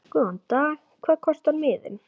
Góðan dag. Hvað kostar miðinn?